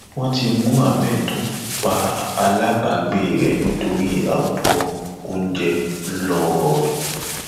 wọn ti mú ahmed tó pa aláàbàgbé rẹ nítorí abọ oúnjẹ ńlọrọrin